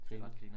Det ret grineren